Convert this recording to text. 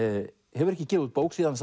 hefur ekki gefið út bók síðan